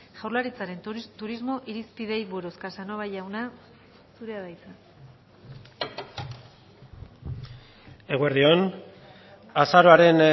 jaurlaritzaren turismo irizpideei buruz casanova jauna zurea da hitza eguerdi on azaroaren